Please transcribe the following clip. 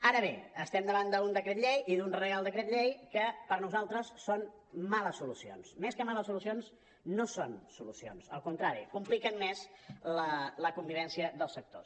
ara bé estem davant d’un decret llei i d’un reial decret llei que per nosaltres són males solucions més que males solucions no són solucions al contrari compliquen més la convivència dels sectors